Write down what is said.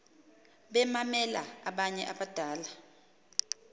bemamela abanye abadala